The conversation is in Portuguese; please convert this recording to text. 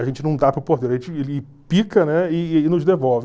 A gente não dá para o porteiro, a gente ele pica, né, e e nos devolve.